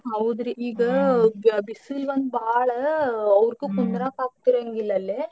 ಹೌದ್ರಿ ಈಗ ಬಿಸಿಲ್ ಒಂದ್ ಬಾಳಾ ಅವ್ರ್ಗೂ ಕುಂದ್ರಾಕ್ ಆಗ್ತಿರಂಗಿಲ್ಲ ಅಲ್ಲೇ.